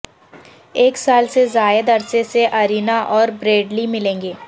ایک سال سے زائد عرصے سے ارینا اور بریڈلی ملیں گے